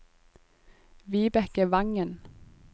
Vibeke Wangen